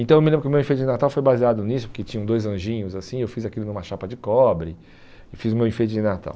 Então eu me lembro que o meu enfeite de Natal foi baseado nisso, porque tinham dois anjinhos assim, eu fiz aquilo numa chapa de cobre, fiz o meu enfeite de Natal.